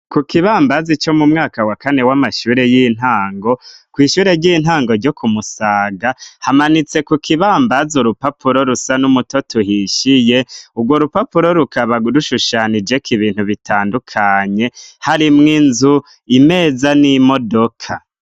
Ku kibambazi co mu mwaka wa kane w'amashure y'intango ku ishure ry'intango ryo ku Musaga hamanitse ku kibambaza urupapuro rusa n'umutoto uhishiye ubwo urupapuro rukaba rushushanije ko ibintu bitandukanye hari mu'inzu, imeza n'imodoka.